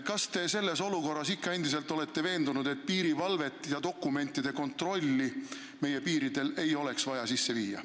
Kas te sellises olukorras olete endiselt veendunud, et meie piiridel ei ole vaja viia sisse piirivalvet ega dokumentide kontrolli?